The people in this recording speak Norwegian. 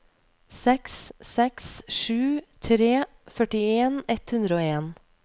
seks seks sju tre førtien ett hundre og en